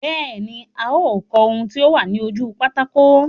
Bẹ́ẹ̀ ní, a ó kọ ohun tí ó wà ní ojú pátákó.